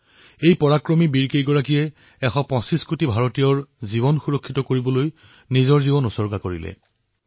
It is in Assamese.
এই পৰাক্ৰমী বীৰসকলে আমি এশ পঁচিশ কোটি ভাৰতীয়ৰ বাবে নিজৰ প্ৰাণ জলাঞ্জলি দিলে